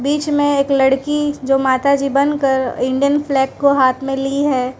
बीच में एक लड़की जो माताजी बनाकर इंडियन फ्लैग को हाथ मे ली है।